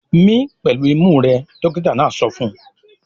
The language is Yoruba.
"Mí pẹ̀lú imú rẹ!" Dọ́kítá náà sọ fún un.